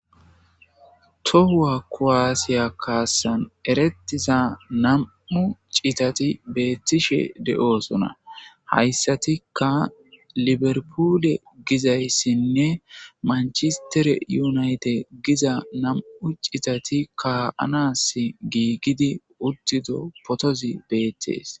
Tohuwa kuwasiya kaasan eretiza nam'u citati beetishe de'osona hayssatika liver puule gizayssinne manchistere unaytidde giza nam'u citati kaa'anas giigidi uttido potozi beetes.